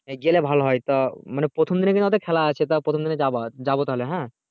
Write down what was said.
গেলে ভালো হয় তা মানে প্রথম দিনে ওদের খেলা আছে প্রথম দিনে যাবা যাবো তাহলে হুম